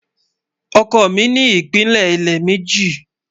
Ọkọ mi ni ìpílẹ ilẹ̀ mẹ́jì